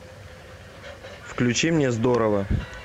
включи мне здорово